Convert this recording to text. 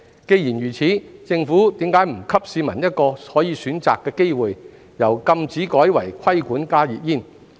既然如此，政府為何不給市民一個可以選擇的機會，由禁止改為"規管"加熱煙？